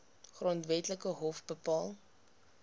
grondwetlike hof bepaal